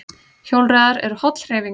Hjólreiðar eru holl hreyfing